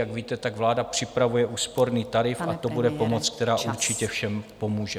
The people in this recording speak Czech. Jak víte, tak vláda připravuje úsporný tarif... a to bude pomoc, která určitě všem pomůže.